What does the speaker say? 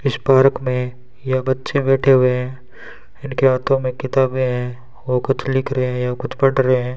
इस पार्क में ये बच्चे बैठे हुए हैं इनके हाथों में किताबें हैं वो कुछ लिख रहे हैं या कुछ पढ़ रहे हैं।